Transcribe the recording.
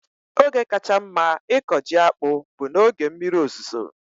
Oge kacha mma ịkọ ji akpu bụ n'oge mmiri ozuzo